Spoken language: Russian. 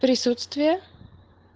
присутствие